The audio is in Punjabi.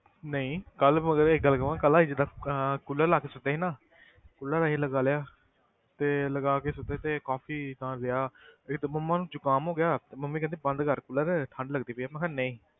ਨਹੀਂ ਕੱਲ੍ਹ ਮਗਰ ਇੱਕ ਗੱਲ ਕਵਾਂ ਕੱਲ੍ਹ ਅਸੀਂ ਜਿੱਦਾਂ ਅਹ cooler ਲਾ ਕੇ ਸੁੱਤੇ ਸੀ ਨਾ cooler ਅਸੀਂ ਲਗਾ ਲਿਆ ਤੇ ਲਗਾ ਕੇ ਸੁੱਤੇ ਤੇ ਕਾਫ਼ੀ ਏਦਾਂ ਰਿਹਾ ਮੇਰੀ ਤੇ ਮੰਮਾ ਨੂੰ ਜੁਕਾਮ ਹੋ ਗਿਆ, ਤੇ ਮੰਮੀ ਕਹਿੰਦੇ ਬੰਦ ਕਰ cooler ਠੰਢ ਲੱਗਦੀ ਪਈ ਆ, ਮੈਂ ਕਿਹਾ ਨਹੀਂ।